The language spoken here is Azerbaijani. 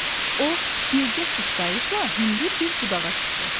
O bircə sıçrayışla hündür bir budağa çıxdı.